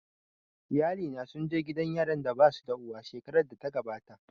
Iyalina sun je gidan yaran da basu da uwa shekarar da ta gabata